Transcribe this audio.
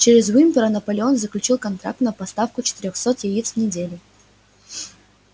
через уимпера наполеон заключил контракт на поставку четырёхсот яиц в неделю